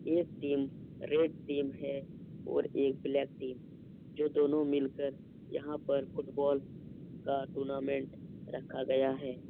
एक team red team है और एक ब्लैक टीम है जो दोनों मिलकर यहाँ पर फुटबॉल का टूर्नामेंट रखा गया है ।